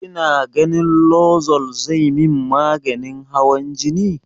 Kina ganin lozol zai min maganin hawan jini?